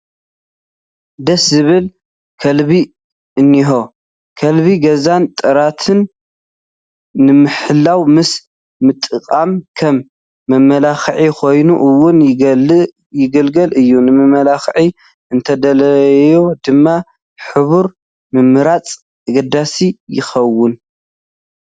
ደስ ዝብል ከልቢ እኒሆ፡፡ ከልቢ ገዛን ጥሪትን ንምሕላው ምስ ምጥቃሙ ከም መመላክዒ ኮይኑ እውን ይገልግል፡፡ ንመመላክዒ እንተተደልዩ ድማ ሕብሩ ምምራፅ ኣገዳሲ ይኸውን፡፡